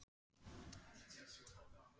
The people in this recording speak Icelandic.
Áttu ekki bara svolítið súkkulaði handa mér?